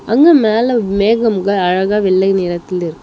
அங்க மேல மேகம்ங்க அழகா வெள்ளை நிறத்தில் இருக்--